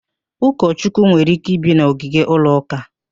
Ụkọchukwu nwere ike ibi n'ogige ụlọ ụka